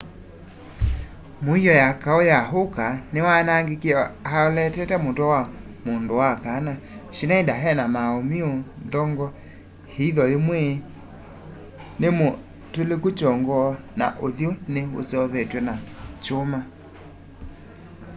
muio ya kau ya uka niwaanagikie alootete mutwe wa mundu wa kana schneider ena mauumiu nthong'o iitho yimwe nimutiloiku chongo na uthyu ni useuvitwe na chuma